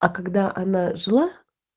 а когда она жила